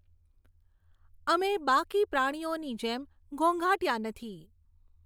અમે બાકી પ્રાણીઓની જેમ ઘોંઘાટીયા નથી.